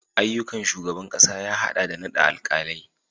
Ayyukan shugaban kasa ya hada da naɗa alkalai